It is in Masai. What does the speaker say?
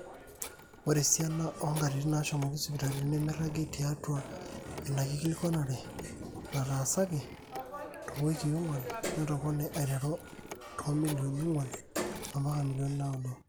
ore esiana oonkatitin naashomoki sipitali nemeiragi tiatwa ina kikilikuanare nataasaki toowikii ong'wan netopone aiteru toomillionini ong'wan mpaka milionini naaudo